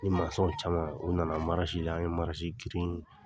Ni masɔn caman, u nana la, an ye girin